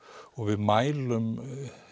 og við mælum